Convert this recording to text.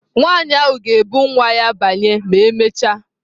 Nwanyị ahụ ga-ebu nwa ya banye ma emechaa.